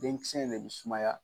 Den kisɛ in de bɛ sumaya.